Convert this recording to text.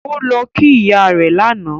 Ó lọ kí ìyá rẹ̀ lánàá